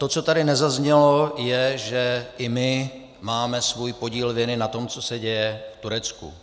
To, co tady nezaznělo, je, že i my máme svůj podíl viny na tom, co se děje v Turecku.